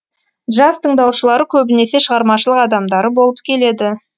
джаз тыңдаушылары көбінесе шығармашылық адамдары болып келеді